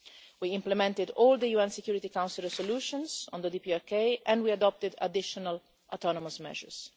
We implemented all the UN Security Council resolutions on the DPRK and we adopted additional autonomous measures.